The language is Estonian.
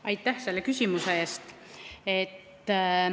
Aitäh selle küsimuse eest!